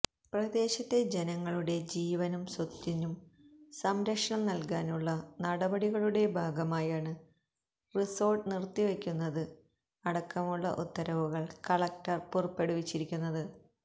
പ്രദേശത്ത ജനങ്ങളുടെ ജീവനും സ്വത്തിനും സംരക്ഷണം നല്കാനുള്ള നടപടികളുടെ ഭാഗമായാണ് റിസോർട്ട് നിർത്തിവയ്ക്കുന്നത് അടക്കമുള്ള ഉത്തരവുകൾ കളക്ടർ പുറപ്പെടുവിച്ചിരിക്കുന്നത്